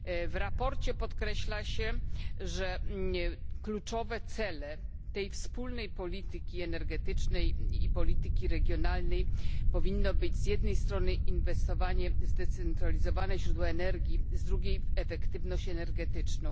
W sprawozdaniu podkreśla się, że kluczowym celem tej wspólnej polityki energetycznej i polityki regionalnej powinno być z jednej strony inwestowanie w zdecentralizowane źródła energii, z drugiej zaś w efektywność energetyczną.